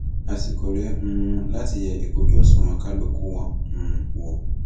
àsìkò rèé um láti yẹ ìkúnjú òṣùwọn kálukú wọn um wò